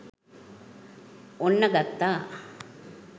ඔන්න ගත්තා